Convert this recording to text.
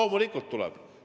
Loomulikult tuleb.